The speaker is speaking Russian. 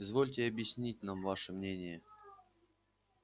извольте объяснить нам ваше мнение